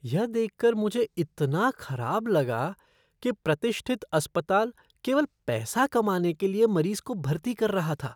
यह देख कर मुझे इतना खराब लगा कि प्रतिष्ठित अस्पताल केवल पैसा कमाने के लिए मरीज को भर्ती कर रहा था।